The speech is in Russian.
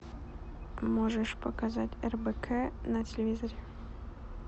можешь показать рбк на телевизоре